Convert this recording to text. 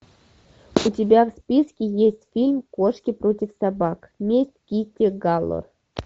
у тебя в списке есть фильм кошки против собак месть китти галор